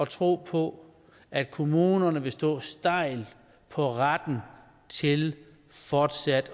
tro på at kommunerne vil stå stejlt på retten til fortsat